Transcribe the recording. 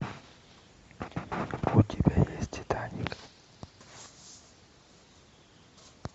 у тебя есть титаник